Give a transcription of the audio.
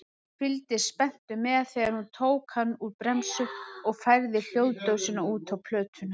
Fylgdist spenntur með þegar hún tók hann úr bremsu og færði hljóðdósina út á plötuna.